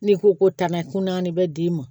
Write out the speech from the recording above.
N'i ko ko tana kuntanin bɛ d'i ma